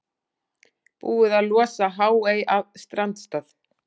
Búið að losa Háey af strandstað